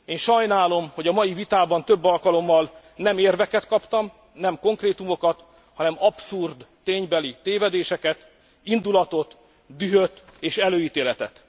Én sajnálom, hogy a mai vitában több alkalommal nem érveket kaptam, nem konkrétumokat, hanem abszurd ténybeli tévedéseket, indulatot, dühöt és előítéletet.